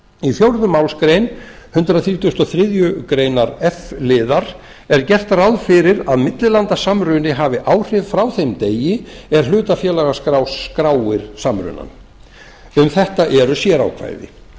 í fjórðu málsgrein hundrað þrítugasta og þriðju grein f liðar er gert ráð fyrir að millilandasamruni hafi áhrif frá þeim degi er hlutafélagaskrá skráir samrunann um þetta eru sérákvæði